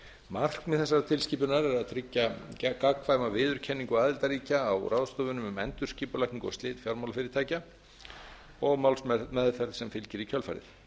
markmið þessarar tilskipunar er að tryggja gagnkvæma viðurkenningu aðildarríkja á ráðstöfunum um endurskipulagningu og slit fjármálafyrirtækja og málsmeðferð sem fylgir í kjölfarið